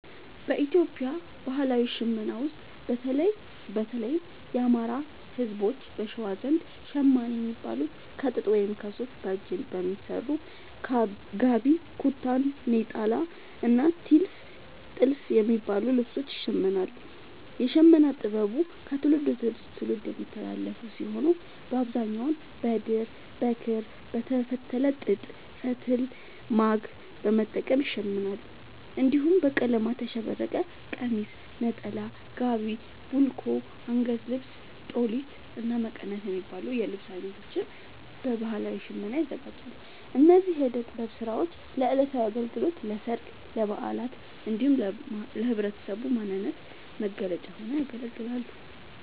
በኢትዮጵያ ባህላዊ ሽመና ውስጥ፣ በተለይም የአማራ፣ ህዝቦች(በሸዋ) ዘንድ ‘ሸማኔ’ የሚባሉት ከጥጥ ወይም ከሱፍ በእጅ በሚሰሩ ‘ጋቢ’፣ ‘ኩታ’፣ ‘ኔጣላ’ እና ‘ቲልፍ’ የሚባሉ ልብሶችን ይሽምናሉ። የሽመና ጥበቡ ከትውልድ ወደ ትውልድ የሚተላለፍ ሲሆን፣ በአብዛኛው በድር፣ በክር፣ በተፈተለ ጥጥ ፈትል(ማግ) በመጠቀም ይሸምናሉ። እንዲሁም በቀለማት ያሸበረቀ ቀሚስ፣ ነጠላ፣ ጋቢ፣ ቡልኮ፣ አንገት ልብስ(ጦሊት)፣እና መቀነት የሚባሉ የልብስ አይነቶችን በባህላዊ ሽመና ያዘጋጃሉ። እነዚህ የእደ ጥበብ ስራዎች ለዕለታዊ አገልግሎት፣ ለሠርግ፣ ለበዓላት እንዲሁም ለህብረተሰቡ ማንነት መገለጫ ሆነው ያገለግላሉ።